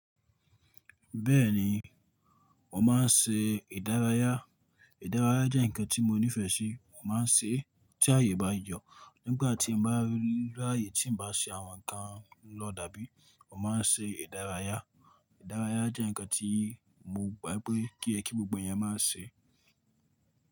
Bẹ́ẹ̀ni, mo máa ń ṣe ìdárayá. Ìdárayá jẹ́ ǹkan tí mo nífẹ̀ẹ́ sí. Mo máa ń ṣe é tí ààyè bá yọ̀. Nígbà tí n bá rí láàyè tí n bá ṣe àwọn ǹkan lọ dàbí, mo máa ń ṣe ìdárayá. Ìdárayá jẹ́ ǹkan tí mo gbà pé kí tó yẹ kí gbogbo èyán máa ṣe.